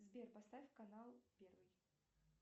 сбер поставь канал первый